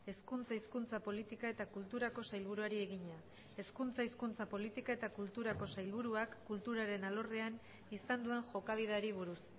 hezkuntza hizkuntza politika eta kulturako sailburuari egina hezkuntza hizkuntza politika eta kulturako sailburuak kulturaren alorrean izan duen jokabideari buruz